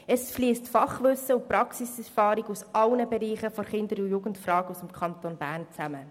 Es fliessen Fachwissen und Praxiserfahrung aus allen Bereichen der Kinder- und Jugendarbeit im Kanton Bern zusammen.